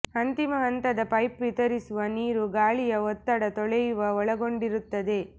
ಅಂತಿಮ ಹಂತದ ಪೈಪ್ ವಿತರಿಸುವ ನೀರು ಗಾಳಿಯ ಒತ್ತಡ ತೊಳೆಯುವ ಒಳಗೊಂಡಿರುತ್ತದೆ